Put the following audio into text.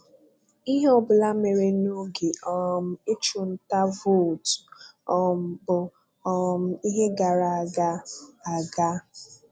Ihe ọbụla mere n'oge um ịchụ nta vootu um bụ um ihe gara aga. aga.